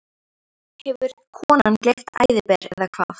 Hefur konan gleypt æðiber, eða hvað?